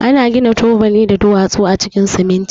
Ana gina tubali da duwatsu a cikin siminti.